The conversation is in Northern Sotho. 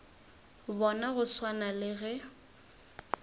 bona go swana le ge